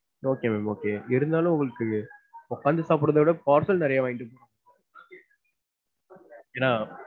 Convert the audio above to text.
Okay ma'am, okay இருந்தாலும் உங்களுக்கு உக்காந்து சாப்பிடுறத விட parcel நிறையா வாங்கிட்டு ஏன்னா,